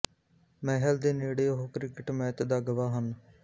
ਮਹਿਲ ਦੇ ਨੇੜੇ ਉਹ ਕ੍ਰਿਕਟ ਮੈਚ ਦਾ ਗਵਾਹ ਹਨ